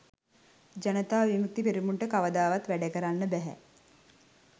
ජනතා විමුක්ති පෙරමුණට කවදාවත් වැඩකරන්න බැහැ